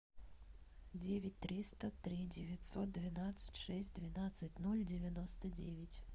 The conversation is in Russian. девять триста три девятьсот двенадцать шесть двенадцать ноль девяносто девять